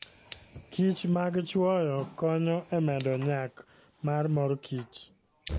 kichmag chwoyo konyo e medo nyak mar mor kich.